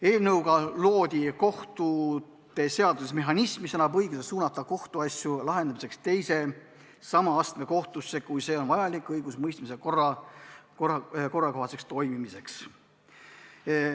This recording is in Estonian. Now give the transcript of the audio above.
Eelnõu eesmärk on luua kohtute seaduses mehhanism, mis annab õiguse suunata kohtuasju lahendamiseks teise sama astme kohtusse, kui see on vajalik õigusemõistmise korrakohaseks toimimiseks.